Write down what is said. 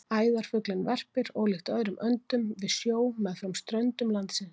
Æðarfuglinn verpir, ólíkt öðrum öndum, við sjó meðfram ströndum landsins.